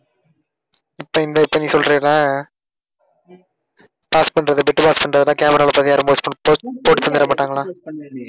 இப்ப இந்த இப்ப நீ சொல்றல pass பண்றது bit pass ல பண்றதுன்னா camera ல போட்டு தந்திட மாட்டாங்களா?